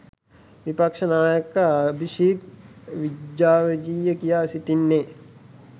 විපක්ෂ නායක Abhisit Vejjajiva කියා සිටින්නේ